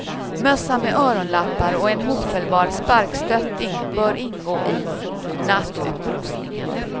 Mössa med öronlappar och en hopfällbar sparkstöttning bör ingå i nattutrustningen.